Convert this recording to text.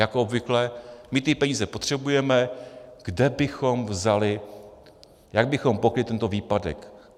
Jako obvykle: My ty peníze potřebujeme, kde bychom vzali, jak bychom pokryli tento výpadek?